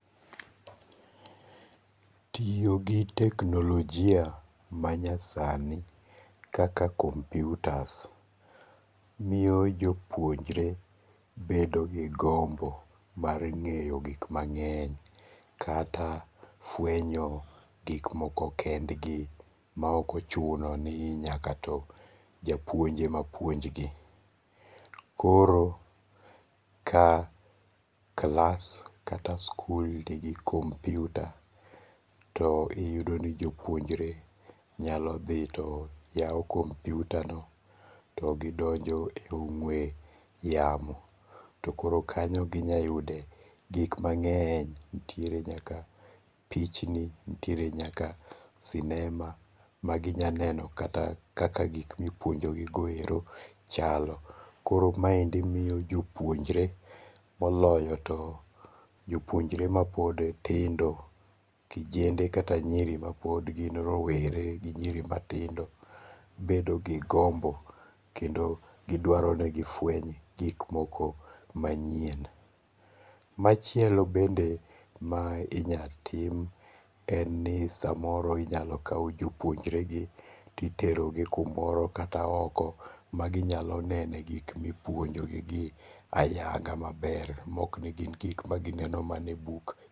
Tiyo gi teknolojia manyasani kaka computers, miyo jopuonjre bedo gi gombo mar nge'yo gik mange'ny kata fwenyo gik moko kendgi ma okochunoni nyakato japuonj ema puonjgi, koro ka klas kata skul nigi kompiuta to iyudo ni jopuonjre nyalothi to yawo kompiutano to gidonjo e ong'we yamo to koro kany ginyalo yude gik mange'ny nitiere nyaka pichni, nitiere nyaka sinema maginyalo neno kata kaka gik ma ipuonjogigo ero chalo, koro maendi miyo jo puonjre moloyo to jopuonjre ma pod tindo kijende kata nyiri ma pod gin rowere gi nyiri matindo bedo gi gombo kendo gi dwaro ni gi fweny gik moko manyien. Machielo bende ma inya tim en ni samoro inyal kaw jo puonjregi to iterogi kumoro kata oko ma ginyalo neno e gik ma ipuonjogi ayaga maber ma ok ni gin gik magineno mana e buk.